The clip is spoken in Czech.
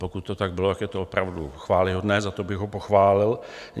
Pokud to tak bylo, tak je to opravdu chvályhodné, za to bych ho pochválil.